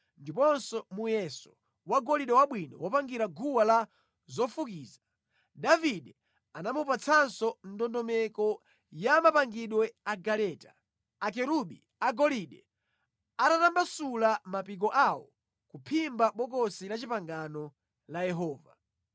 ndiponso muyeso wa golide wabwino wopangira guwa la zofukiza. Davide anamupatsanso ndondomeko ya mapangidwe a galeta, akerubi agolide atatambasula mapiko awo kuphimba Bokosi la Chipangano la Yehova.